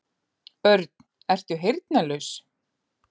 Örn, ertu heyrnarlaus?